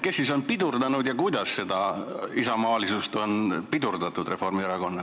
Kes siis on Reformierakonna isamaalisust pidurdanud?